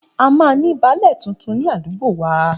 A máa ní baálẹ̀ tuntun ní àdúgbò wa